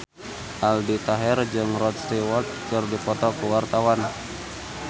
Aldi Taher jeung Rod Stewart keur dipoto ku wartawan